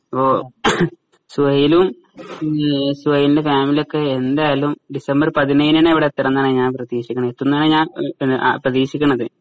ഓ ഹും സുഹൈലും ഉം സുഹൈലിന്റെ ഫാമിലിയൊക്കെ ഇപ്പൊ എന്തായാലും ഡിസംബർ പതിനേഴിന് തന്നെ ഇവിടെ എത്തണന്നാണ് ഞാൻ പ്രദീക്ഷിക്കുന്നതു എത്തുന്നാണ് ഞാൻ പ്രദീക്ഷിക്കണത്